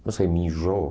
Não sei, me enjoo.